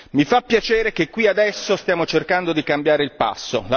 Mi fa piacere che qui, adesso, stiamo cercando di cambiare il passo.